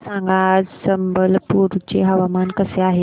मला सांगा आज संबलपुर चे हवामान कसे आहे